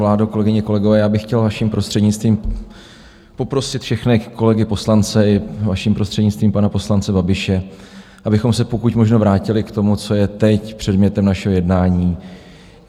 Vládo, kolegyně, kolegové, já bych chtěl vaším prostřednictvím poprosit všechny kolegy poslance a vaším prostřednictvím pana poslance Babiše, abychom se pokud možno vrátili k tomu, co je teď předmětem našeho jednání.